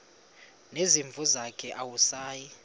nezimvu zakhe awusayi